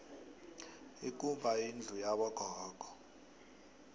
ikumba yindlu yabo gogo